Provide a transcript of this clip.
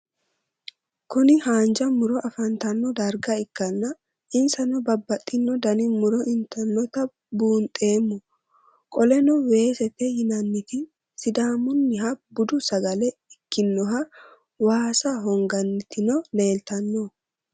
Kuni hanja muro afantano darga ikana insanno babaxino Dani muro initinota buunxeemo qoleno weesete yinaniti sidamuniha budu sagale ikinoha waasa honganitino leelitano?